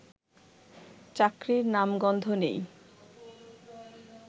চাকরির নামগন্ধ নেই